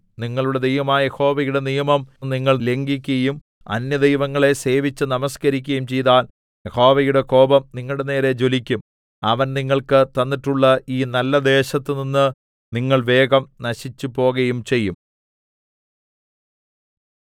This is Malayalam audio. നിങ്ങളുടെ ദൈവമായ യഹോവയുടെ നിയമം നിങ്ങൾ ലംഘിക്കയും അന്യദൈവങ്ങളെ സേവിച്ച് നമസ്കരിക്കയും ചെയ്താൽ യഹോവയുടെ കോപം നിങ്ങളുടെനേരെ ജ്വലിക്കും അവൻ നിങ്ങൾക്ക് തന്നിട്ടുള്ള ഈ നല്ലദേശത്തുനിന്ന് നിങ്ങൾ വേഗം നശിച്ചുപോകയും ചെയ്യും